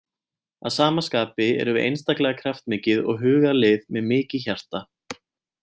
Að sama skapi erum við einstaklega kraftmikið og hugað lið með mikið hjarta.